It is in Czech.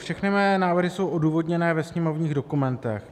Všechny mé návrhy jsou odůvodněny ve sněmovních dokumentech.